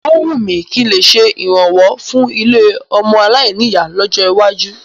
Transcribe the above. Ó wùn mí kí n lè ṣe ìrànwọ́ fún ilé ọmọ aláìní ìyá lọ́jọ́ iwájú.